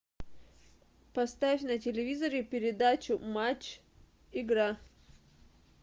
поставь на телевизоре передачу матч игра